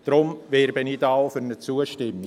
Daher werbe ich hier auch für eine Zustimmung.